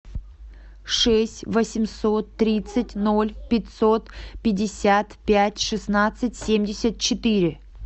шесть восемьсот тридцать ноль пятьсот пятьдесят пять шестнадцать семьдесят четыре